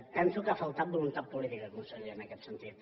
penso que ha faltat voluntat política conseller en aquest sentit